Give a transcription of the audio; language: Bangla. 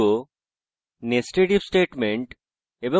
কিভাবে nested if statement এবং